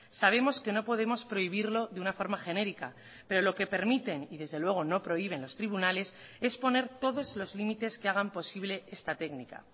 sabemos que no podemos prohibirlo de una forma genérica pero lo que permiten y desde luego no prohíben los tribunales es poner todos los límites que hagan posible esta técnica